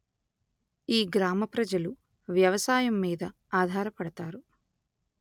ఈ గ్రామ ప్రజలు వ్యవసాయము మీద అధార పడతారు